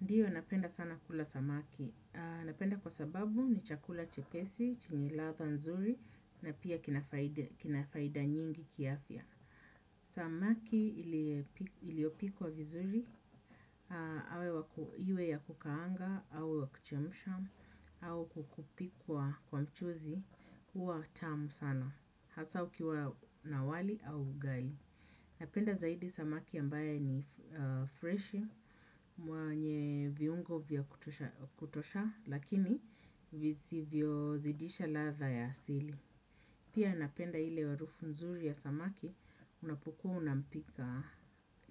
Ndiyo napenda sana kula samaki, napenda kwa sababu ni chakula chepesi, chenye ladha nzuri na pia kina faida nyingi kiafya. Samaki iliyopikwa vizuri, iwe ya kukaanga, au kuchemsha, au kukupikwa kwa mchuzi, huwa tamu sana, hasaa ukiwa na wali au ugali. Napenda zaidi samaki ambaye ni fresh mwenye viungo vya kutosha lakini vizivyo zidisha ladha ya asili. Pia napenda ile harufu nzuri ya samaki unapokuwa unampika